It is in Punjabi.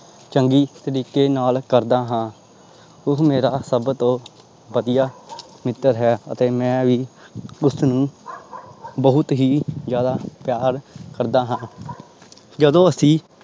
ਚੰਗੀ ਤਰੀਕੇ ਨਾਲ ਕਰਦਾ ਹਾਂ ਉਹ ਮੇਰਾ ਸਭ ਤੋਂ ਵਧੀਆ ਮਿੱਤਰ ਹੈ ਅਤੇ ਮੈਂ ਵੀ ਉਸਨੂੰ ਬਹੁਤ ਹੀ ਜ਼ਿਆਦਾ ਪਿਆਰ ਕਰਦਾ ਹਾਂ ਜਦੋਂ ਅਸੀਂ